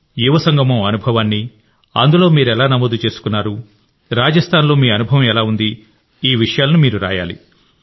యువ సంగమం అనుభవాన్ని అందులో మీరెలా నమోదు చేసుకున్నారు రాజస్థాన్లో మీ అనుభవం ఎలా ఉంది అనే విషయాలను రాయాలి